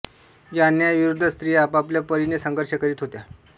या अन्यायाविरुद्ध स्त्रिया आपापल्या परीने संघर्ष करीत होत्या